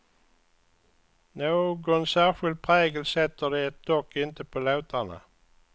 Någon särskild prägel sätter det dock inte på låtarna.